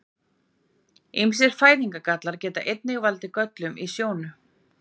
Ýmsir fæðingargallar geta einnig valdið göllum í sjónu.